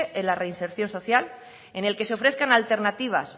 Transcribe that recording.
en la reinserción social en el que se ofrezcan alternativas